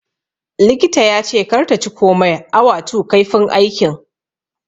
likita yace kar ta ci komai awa 2 kaifin aikin.